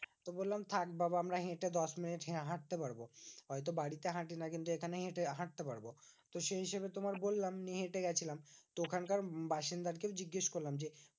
তো বললাম থাক বাবা আমরা হেঁটে দশমিনিট হ্যাঁ হাঁটতে পারবো। হয়তো বাড়িতে হাঁটি না কিন্তু এখানে হেঁটে হাঁটতে পারবো। তো সেই হিসেবে তোমার বললাম যে, হেঁটে গেছিলাম। তো ওখানকার বাসিন্দা কেও জিজ্ঞেস করলাম যে,